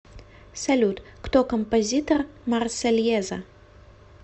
салют кто композитор марсельеза